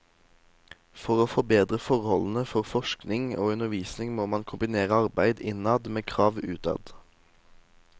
For å forbedre forholdene for forskning og undervisning må man kombinere arbeid innad med krav utad.